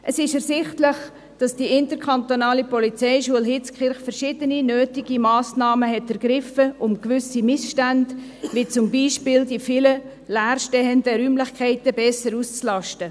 Es ist ersichtlich, dass die IPH verschiedene nötige Massnahmen ergriffen hat, um gewisse Missstände zu beheben, wie zum Beispiel die vielen leer stehenden Räumlichen besser auszulasten.